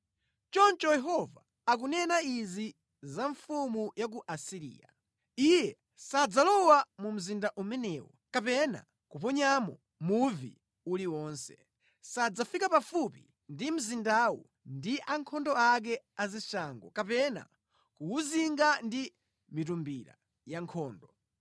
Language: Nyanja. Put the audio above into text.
“Choncho Yehova akunena izi za mfumu ya ku Asiriya: “Iye sadzalowa mu mzinda umenewu kapena kuponyamo muvi uliwonse. Sadzafika pafupi ndi mzindawu ndi ankhondo ake a zishango kapena kuwuzinga ndi mitumbira yankhondo.